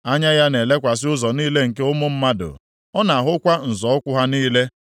“Anya ya na-elekwasị ụzọ niile nke ụmụ mmadụ; ọ na-ahụkwa nzọ ụkwụ ha niile.